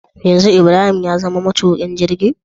Yanzu ibrahim yazama ma tukin jirgi?